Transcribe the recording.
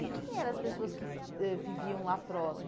E quem eram as pessoas que eh viviam lá próximo?